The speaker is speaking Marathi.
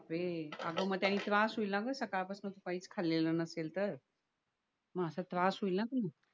हम्म अगं मग त्यानी त्रास होईल ना ग सकाळ पासून तू काहीच खाल्लेल नसेल तर म त्रास होईल ना मग